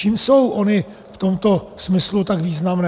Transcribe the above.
Čím jsou ony v tomto smyslu tak významné?